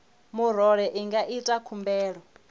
murole i nga ita khumbelo